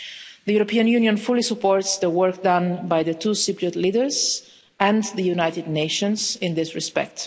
The European Union fully supports the work done by the two Cypriot leaders and the United Nations in this respect.